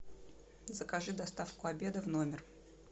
закажи доставку обеда в номер